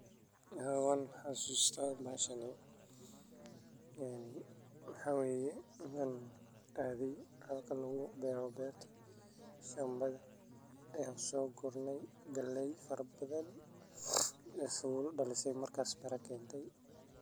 Haa wan xasusta bahashani maxaa adhe halka lagu beero waxan sourness galey baan oo Mark mira dashe marka galeyda ayan said uso gurne.